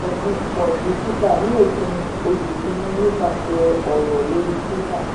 franzen sọ bitcoin di títà ní òpin oṣù kìíní nípasẹ̀ ọ̀rọ̀ lórí twitter.